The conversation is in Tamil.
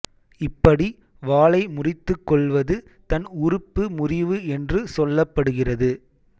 இப்படி வாலை முறித்துக் கொள்வது தன் உறுப்பு முறிவு என்று சொல்லப்படுகிறது